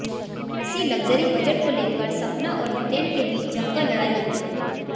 इसी luxury budget को लेकर सपना और हितेन के बीच जमकर लड़ाई होती है